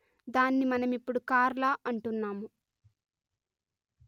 దాన్ని మనమిప్పుడు కార్ల అంటున్నాము